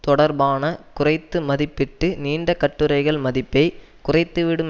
தொடர்பான குறைத்து மதிப்பிட்டு நீண்ட கட்டுரைகள் மதிப்பை குறைத்துவிடும்